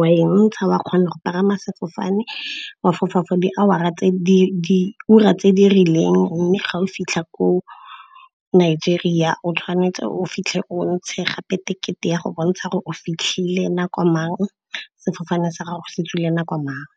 wa e ntsha, wa kgona go pagama sefofane wa fofa for diura tse di rileng. Mme ga o fitlha ko Nigeria o tshwanetse o fitlhe o ntshe gape tekete ya go bontsha gore o fitlhile nako mang, sefofane sa gago se tswile nako mang.